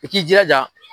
I k'i jilaja